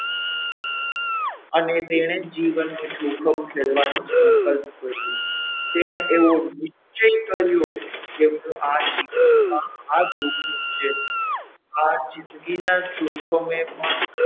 અને તેણે જીવનનું જોખમ ખેડવાનું સંકલ્પ કર્યો તેને એવો નિશ્ચય કર્યો કે હું આ જીવનમાં આ જોખમ છે આ જિંદગીના જોખમે પણ,